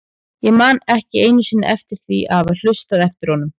Ég man ekki einu sinni eftir því að hafa hlustað eftir honum.